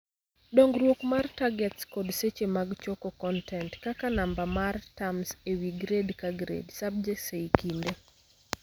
Dongruok mar targets kod seche mag choko kontent (kaka namba mar terms ewi grade ka grade/subjects ei kinde)